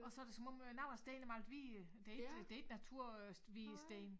Og så det som om øh nogen af stenene er malet hvide det ik det ikke natur øh hvide sten